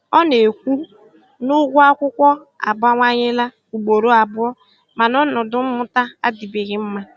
Ọ na-ekwu na ụgwọ akwụkwọ abawanyela ugboro abụọ, mana ọnọdụ mmụta adịbeghị mma.